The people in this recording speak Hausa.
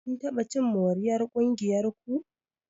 Kun taɓa cin moriyar ƙungiyar ku?